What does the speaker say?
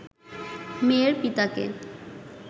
মেয়ের পিতাকে